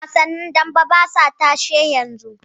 Wasannin daɓe basa tashe yanzu.